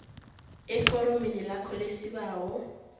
eforomeni lakho lesibawo